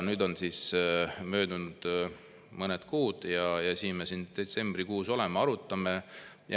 Nüüd on möödunud mõned kuud ja siin me siis detsembrikuus oleme, arutame.